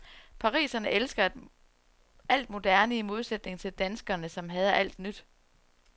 Pariserne elsker alt moderne i modsætning til danskerne, som hader alt nyt.